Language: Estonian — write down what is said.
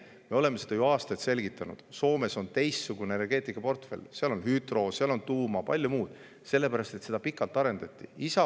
Me oleme seda ju aastaid selgitanud: Soomes on teistsugune energeetikaportfell, seal on hüdro, seal on tuuma ja palju muud, sellepärast et seda arendati pikalt.